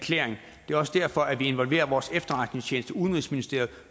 det er også derfor vi involverer vores efterretningstjeneste udenrigsministeriet